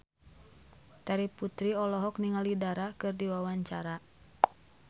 Terry Putri olohok ningali Dara keur diwawancara